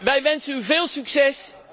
Wij wensen u veel succes.